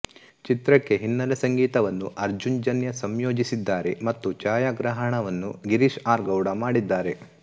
ಚಿತ್ರಕ್ಕೆ ಹಿನ್ನೆಲೆಸಂಗೀತವನ್ನು ಅರ್ಜುನ್ ಜನ್ಯ ಸಂಯೋಜಿಸಿದ್ದಾರೆ ಮತ್ತು ಛಾಯಾಗ್ರಹಣವನ್ನು ಗಿರೀಶ್ ಆರ್ ಗೌಡ ಮಾಡಿದ್ದಾರೆ